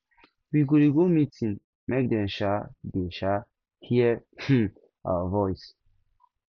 we go dey go meeting make dem um dey um hear um our voice